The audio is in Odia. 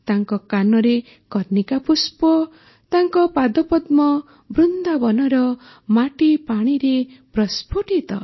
ତାଙ୍କ କାନରେ କର୍ଣ୍ଣିକା ପୁଷ୍ପ ତାଙ୍କ ପାଦପଦ୍ମ ବୃନ୍ଦାବନର ମାଟି ପାଣିରେ ପ୍ରସ୍ଫୁଟିତ